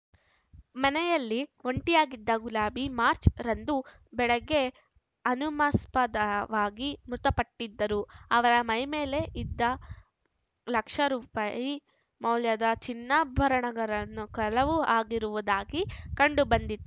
ಮನೆಯಲ್ಲಿ ಒಂಟಿಯಾಗಿದ್ದ ಗುಲಾಬಿ ಮಾರ್ಚ್ ರಂದು ಬೆಳಗ್ಗೆ ಅನುಮಾಸ್ಪದವಾಗಿ ಮೃತಪಟ್ಟಿದ್ದು ಅವರ ಮೈ ಮೇಲೆ ಇದ್ದ ಲಕ್ಷ ರೂಪಾಯಿ ಮೌಲ್ಯದ ಚಿನ್ನಾಭರಣಗರನ್ನು ಕಳವು ಆಗಿರುವುದು ಕಂಡುಬಂದಿತ್ತು